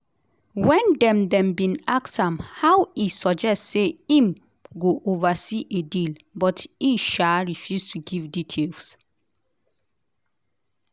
wen dem dem bin ask am how e suggest say im go oversee a deal but e um refuse to give details.